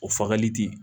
O fagali tɛ